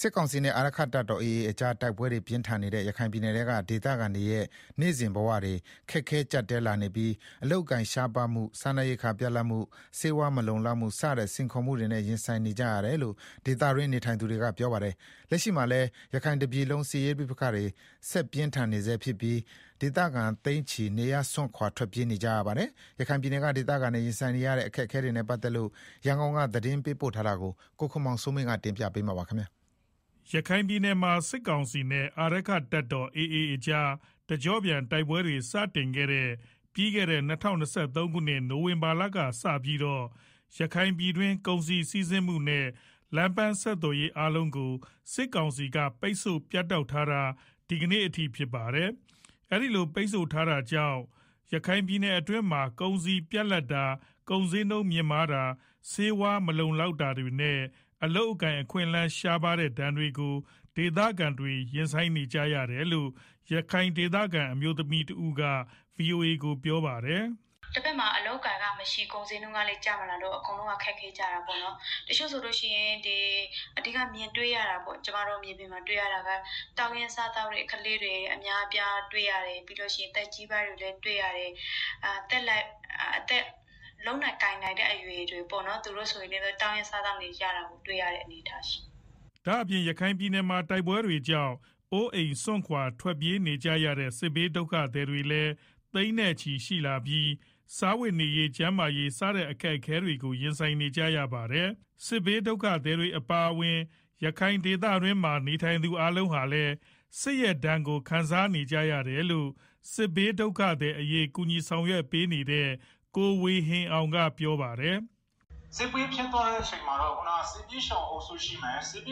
စစ်ကောင်စီနဲ့ အာရက္ခတပ်တော် AA ကြား တိုက်ပွဲတွေပြင်းထန်နေတဲ့ ရခိုင်ပြည်နယ်ထဲက ဒေသခံတွေရဲ့ နေ့စဉ်ဘဝတွေ ခက်ခဲကြပ်တည်းလာနေပြီး အလုပ်အကိုင်ရှားပါးမှု စားနပ်ရိက္ခာပြတ်လပ်မှု ဆေးဝါးမလုံလောက်မှု စတဲ့ စိန်ခေါ်မှုတွေနဲ့ရင်ဆိုင်နေကြရတယ်လို့ ဒေသတွင်းနေထိုင်သူတွေကပြောပါတယ်။ လက်ရှိမှာလည်း ရခိုင်တပြည်လုံးစစ်ရေးပဋိပက္ခတွေ ဆက်ပြင်းထန်နေဆဲဖြစ်ပြီး ဒေသခံသိန်းချီ နေရပ်စွန့်ခွာထွက်ပြေးနေကြရပါတယ်။ ရန်ကုန်က သတင်းပေးပို့ထားပါတယ်။ ရခိုင်ပြည်နယ်မှာ စစ်ကောင်စီနဲ့ အာရက္ခတပ်တော်AA ကြား တကြော့ပြန်တိုက်ပွဲတွေ စတင်ခဲ့တဲ့ ၂၀၂၃ခုနှစ် နိုဝင်ဘာလကစပြီးတော့ ရခိုင်ပြည်တွင်း ကုန်စည်စီးဆင်းမှုတွေနဲ့ လမ်းပမ်းဆက်သွယ်ရေး အားလုံးကို စစ်ကောင်စီက ပိတ်ဆို့ပြတ်တောက်ထားတာ ဒီကနေ့အထိ ဖြစ်ပါတယ်။ အခုလို ပိတ်ဆို့ထားတာကြောင့် ရခိုင်ပြည်နယ်အတွင်းမှာ ကုန်စည်ပြတ်လပ်တာ ကုန်ဈေးနှုန်းမြင့်မားတာ၊ ဆေးဝါးမလုံလောက်တာတွေနဲ့အလုပ်အကိုင်အခွင့်အလမ်းတွေ ရှားပါးမှုဒဏ်တွေကို ဒေသခံတွေ ရင်ဆိုင်နေကြရတယ်လို့ ရခိုင်ဒေသခံအမျိုးသမီးတဦးက ဗွီအိုအေကို ပြောပါတယ်။ “ တဘက်မှာ အလုပ်အကိုင်ကမရှိ ကုန်ဈေးနှုန်းကလည်း ကျမလာဘူးဆိုတော့ အကုန်လုံးက ခက်ခဲကြတာပေါ့နော် တချို့ဆိုလို့ရှိရင် ကျမတို့မြေပြင်မှာ တွေ့ရတာကတောင်းရမ်းစားသောက်တဲ့ ကလေးတွေ အများအပြားတွေ့ရတယ်၊ ပြီးတော့ သက်ကြီးပိုင်းတွေလည်းတွေ့ရတယ် သက်လတ်ပိုင်းတွေ လုပ်နိုင်ကိုင်နိုင်တဲ့ အရွယ်တွေပေါ့နော် သူတို့တွေလည်း တောင်းရမ်း စားသောက်နေတာ တွေ့ရတယ်။” ဒါ့အပြင် ရခိုင်ပြည်နယ်မှာ တိုက်ပွဲတွေကြောင့် အိုးအိမ်စွန့်ခွာထွက်ပြေးနေရတဲ့ စစ်ဘေးဒုက္ခသည်တွေလည်း သိန်းနဲ့ချီရှိလာနေပြီး စားဝတ်နေရေး ကျန်းမာရေး စတဲ့အခက်အခဲတွေကို ရင်ဆိုင်နေကြရတာပါ။ စစ်ဘေးဒုက္ခသည်တွေအပါအဝင် ရခိုင်ဒေသတွင်းမှာနေထိုင်သူအားလုံးဟာလည်း စစ်ရဲ့ဒဏ်ကို ခံစားနေကြရတယ်လို့ စစ်ဘေးဒုက္ခသည်အရေး ကူညီဆောင်ရွက်ပေးနေတဲ့ ကိုဝေဟင်အောင်ကပြောပါတယ်။ “ စစ်ပွဲဖြစ်သွားတဲ့ ထဲမှာတော့ စစ်ဘေးရှောင်အုပ်စုရှိမယ်၊ တ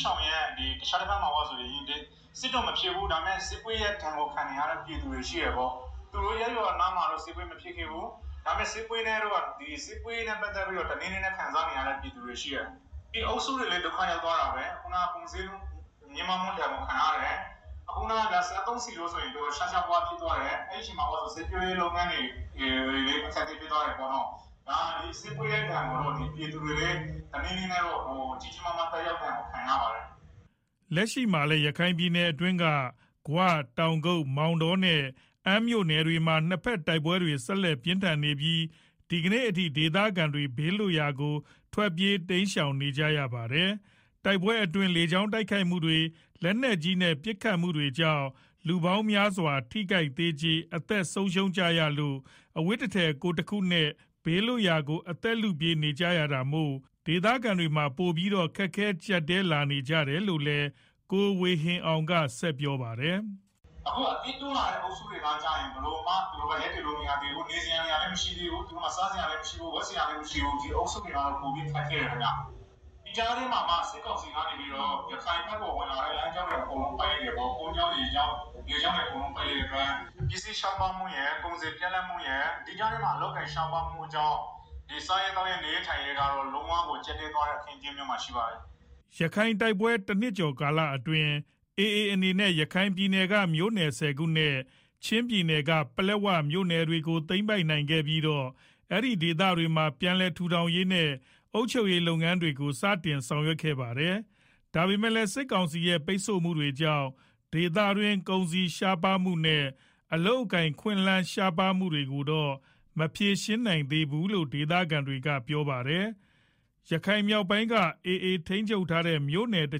ခြားတဘက်မှာက စစ်တော့ မဖြစ်ဘူး ဒါပေမယ့် စစ်ပွဲရဲ့ ဒဏ်ကို ခံနေကြရတဲ့ ပြည်သူတွေရှိတယ်၊ သူတို့ရပ်ရွာနားမှာတော့ စစ်ပွဲမဖြစ်ခဲ့ဘူး ဒါပေမယ့် စစ်ပွဲရဲ့ ဒဏ်ကို တနည်းနည်းနဲ့ ခံစားနေရတဲ့ ပြည်သူတွေ ဒီအုပ်စုတွေလည်းဒုက္ခ ရောက်သွားတာပဲ ခုနားက ကုန်ဈေးနှုန်းမြင့်တက်ဒဏ်ကို ခံရတယ် စစ်သုံးဆီးတွေဆိုရင် တော်တော် ရှားရှားပါးပါးဖြစ်သွားတယ် အဲဒီမှာ စိုက်ပျိုးရေးလုပ်ငန်းတွေ အခက်အခဲဖြစ်သွားတယ်၊ ဆိုတော့ ဒီပြည်သူတွေလည်း စစ်ပွဲရဲ့ဒဏ်ကို တနည်းနည်းနဲ့ခံရပါတယ်။” လက်ရှိမှာလည်း ရခိုင်ပြည်နယ်က ဂွ၊ တောင်ကုတ်၊ မောင်တောနဲ့ အမ်းမြို့နယ်မှာ နှစ်ဘက်တိုက်ပွဲတွေ ဆက်လက်ပြင်းထန်နေပြီး ဒီကနေ့အထိ ဒေသခံတွေ ဘေးလွတ်ရာကို ထွက်ပြေးတိမ်းရှောင်နေရတာလည်းဖြစ်ပါတယ်။ တိုက်ပွဲတွေအတွင်း လေကြောင်းတိုက်ခိုက်လေကြောင်းတိုက်ခိုက်မှုတွေ လက်နက်ကြီးနဲ့ပစ်ခတ်မှုဒဏ်တွေကြောင့် လူပေါင်းများစွာ ထိခိုက်သေကြေ အသက်ဆုံးရှုံးနေကြရလို့ အဝတ်တထည် ကိုယ်တခုနဲ့ ဘေးလွတ်ရာကို အသက်လုပြေးနေရတာမို့ ဒေသခံတွေမှာ ပိုပြီးတော့ ခက်ခဲကြပ်တည်းလာနေကြရတယ်လို့လည်း ကိုဝေဟင်အောင်က ဆက်ပြောပါတယ်။ “ အခုအသစ်တိုးလာတဲ့ စစ်ဘေးရှောင်တွေကတော့ ဘယ်လိုမှ ရပ်တည်လို့မရသေးဘူး နေစရာနေရာ လည်းမရှိသေးဘူး စားစရာလည်းမရှိဘူး ဝတ်စရာလည်းမရှိဘူး ဒီအုပ်စုတွေကတော့ ပိုပြီးတော့ ခက်ခဲ တယ်ခင်မျာ။ ဒီကြားထဲမှာ စစ်ကောင်စီကနေပြီးတော့ ရခိုင်ဘက်ဝင်လာတဲ့ လမ်းကြောင်းတွေ အကုန်လုံးကို ပိတ်လိုက်တယ်ပေါ့၊ ကုန်ကြောင်း ရေကြောင်း အကုန်းလုံးကို ပိတ်လိုက်တဲ့အတွက် ပစ္စည်းရှား ပါးမှုရယ် ကုန်စည်းပြတ်လပ်မှုရယ် ဒီကြားထဲမှာ အလုပ်အကိုင်ရှားပါးမှုတွေကြောင့် ဒီစား ရေးသောက်ရေး နေရေးထိုင်းရေး အခင်းအကြင်းကတော့ လုံးဝကို ကြပ်တည်းသွားတဲ့အနေ အထား မှာရှိပါတယ်။” ရခိုင်တိုက်ပွဲ တနှစ်ကျော်ကာလအတွင်းက AAအနေနဲ့ ရခိုင်ပြည်နယ်က မြို့နယ် ၁ဝခုနဲ့ ချင်းပြည်နယ်က ပလက်ဝမြို့နယ်တွေကို သိမ်းပိုက်ပြီးတော့ အဲဒီဒေသတွေမှာ ပြန်လည်ထူထောင်ရေး နဲ့ အုပ်ချုပ်ရေးလုပ်ငန်းတွေကို စတင်လုပ်ဆောင်နေတာလည်းဖြစ်ပါတယ်။ ဒါပေမယ့်လည်း စစ်ကောင်စီရဲ့ ပိတ်ဆို့မှုတွေကြောင့် ဒေသတွင်း ကုန်စည်ရှားပါးမှုတွေနဲ့ အလုပ်လုပ်ကိုင်ခွင့်ရှားပါးမှုတွေကိုတော့ မဖြေရှင်းပေးနိုင်ဘူးလို့ ဒေသခံတွေကပြောပါတယ်။ ရခိုင်မြောက်ပိုင်းက AA ထိန်းချုပ်ထားတဲ့ မြို့နယ်တ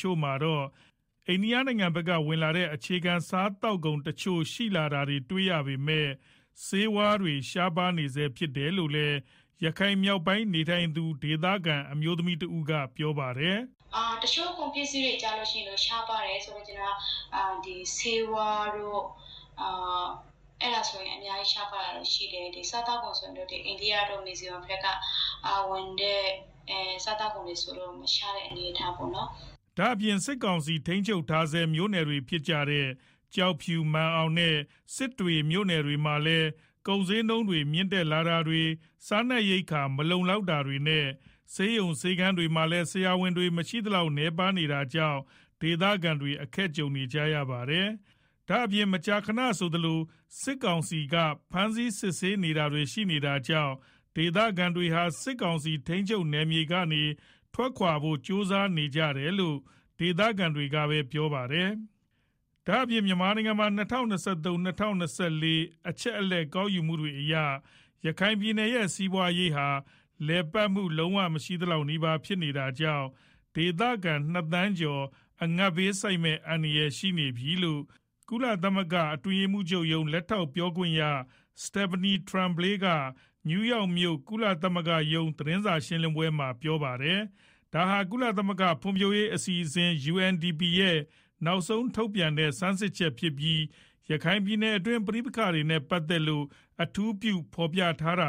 ချို့မှာတော့ အိန္ဒိယနိုင်ငံဘက်က ဝင်လာတဲ့ အခြေခံစားသောက်ကုန်တချို့ရှိလာတာတွေ့ရပေမယ့် ဆေးဝါးတွေ ရှားပါးနေဆဲဖြစ်တယ်လို့လည်း ရခိုင်မြောက်ပိုင်းနေထိုင်သူ ဒေသခံအမျိုးသမီးတဦးကပြောပါတယ်။ “ တချို့ကုန်ပစ္စည်းတွေဆိုရင် ရှားပါးတယ် ဆိုလိုချင်တာက ဆေးဝါးတွေကတော့ အများကြီးရှား ပါးတယ်။ စားသောက်ကုန်တချို့ကတော့ အိန္ဒိယတို့ မီဇိုရမ်တို့ဘက်ကဝင်တဲ့ စားသောက်ကုန်တွေ ကတော့ မရှားတဲ့ အနေအထားပေါ့နော်။” ဒါ့အပြင် စစ်ကောင်စီထိန်းချုပ်ထားဆဲ မြို့နယ်တွေဖြစ်တဲ့ ကျောက်ဖြူ မာန်အောင်နဲ့ စစ်တွေမြို့နယ်မှာလည်း ကုန်ဈေးနှုန်းတွေ မြင့်တက်တာတွေ စားနပ်ရိက္ခာတွေမလုံလောက်တာတွေနဲ့ ဆေးရုံ ဆေးခန်းတွေမှာလည်း ဆရာဝန်တွေ မရှိသလောက်နည်းပါးနေတာကြောင့် ဒေသခံတွေ အခက်ကြုံနေရတာပါ။ ဒါ့အပြင် မကြာခဏဆိုသလို စစ်ကောင်စီ ဖမ်းဆီးစစ်ဆေးတာတွေ ရှိနေတာကြောင့် ဒေသခံတွေဟာ စစ်ကောင်စီထိန်းချုပ်နယ်မြေတွေကနေ ထွက်ခွာဖို့ ကြိုးစားနေကြတယ်လို့ ဒေသခံတွေကပြောပါတယ်။ ဒါ့အပြင် မြန်မာနိုင်ငံမှာ ၂၀၂၃- ၂၄ အချက်အလက် ကောက်ယူမှုတွေအရ ရခိုင်ပြည်နယ်ရဲ့ စီးပွါးရေးဟာ လည်ပတ်မှု လုံးဝ မရှိသလောက်နီးပါး ဖြစ်နေတာကြောင့် ဒေသခံ ၂ သန်းကျော် အငတ်ဘေးဆိုက်မယ့် အန္တရာယ် ရှိနေတယ်လို့ ကုလသမဂ္ဂ အတွင်းရေးမှူးချုပ်ရုံး လက်ထောက်ပြော ခွင့်ရ Stephanie Tremblay က နယူးယောက်မြို့ ကုလရုံးချုပ် သတင်းစာရှင်း လင်းပွဲမှာ ပြောပါ တယ်။ ဒါဟာ ကုလသမဂ္ဂ ဖွံဖြိုးရေးအစီအစဉ် UNDP ရဲ့ နောက်ဆုံးထုတ်ပြန်တဲ့ ဆန်းစစ်ချက်ဖြစ်ပြီး၊ ရခိုင်ပြည်နယ်တွင်း ပဋိပက္ခတွေနဲ့ ပတ်သက်လို့ အထူးပြုဖော်ပြထားတာ